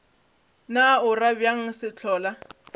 na o ra bjang sehlola